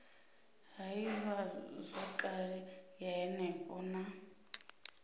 ha ivhazwakale ya henefho na